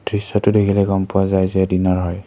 দৃশ্যটো দেখিলে গম পোৱা যায় যে দিনৰ হয়।